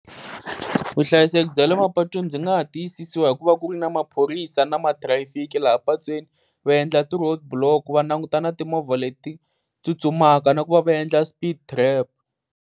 Vuhlayiseki bya le mapatwini ndzi nga ha tiyisisiwa hi ku va ku ri na maphorisa na mathirayifiki laha patwini, va endla ti roadblock, va languta na timovha leti tsutsumaka na ku va va endla speed trap.